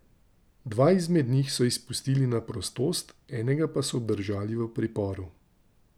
Dva izmed njih so izpustili na prostost, enega pa so obdržali v priporu.